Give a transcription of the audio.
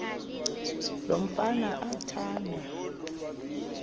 lo mfana athanda